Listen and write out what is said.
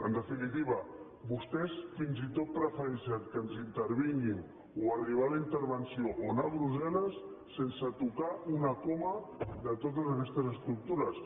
en definitiva vostès fins i tot prefereixen que ens intervinguin o arribar a la intervenció o anar a brusselles sense tocar una coma de totes aquestes estructures